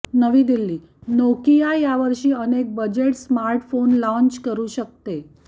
नवी दिल्लीः नोकिया यावर्षी अनेक बजेट स्मार्टफोन लाँच करू शकते